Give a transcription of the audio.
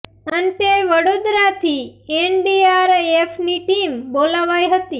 અંતે વડોદરાથી N D R એફની ટીમ બોલાવાઇ હતી